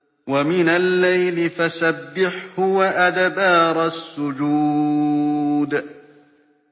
وَمِنَ اللَّيْلِ فَسَبِّحْهُ وَأَدْبَارَ السُّجُودِ